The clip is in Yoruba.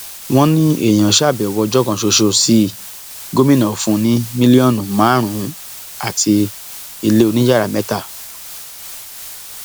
wọn ní èèyàn ṣàbẹwò ọjọ kan ṣoṣo sí i gómìnà fún un ní mílíọnù márùnún àti ilé oníyàrá mẹta